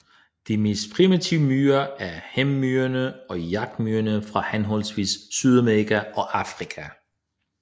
De mest primitive myrer er hærmyrerne og jagtmyrerne fra henholdsvis Sydamerika og Afrika